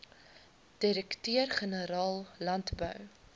direkteur generaal landbou